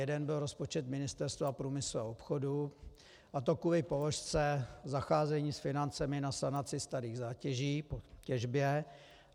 Jeden byl rozpočet Ministerstva průmyslu a obchodu, a to kvůli položce zacházení s financemi na sanaci starých zátěží po těžbě.